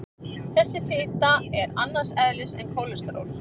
Þessi fita er annars eðlis en kólesteról.